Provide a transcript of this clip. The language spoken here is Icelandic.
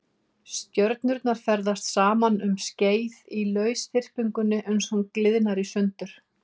Stjörnurnar ferðast saman um skeið í lausþyrpingunni uns hún gliðnar í sundur.